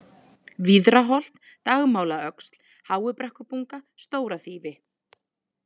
Víðraholt, Dagmálaöxl, Háubrekkubunga, Stóraþýfi